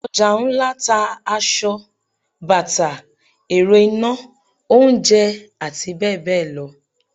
Ojà ńlá n ta asọ, bata, erò ina, oúnjẹ ati beẹbeẹ lọ